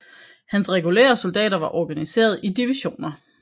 Hans regulære soldater var organiseret i to divisioner